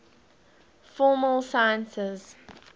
formal sciences